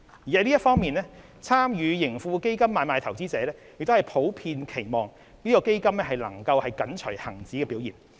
在這方面，參與盈富基金買賣的投資者普遍期望該基金能緊隨恒指的表現。